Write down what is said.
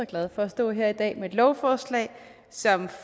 glad for at stå her i dag med et lovforslag som